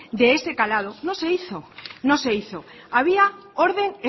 de ese calado no se hizo no se hizo había orden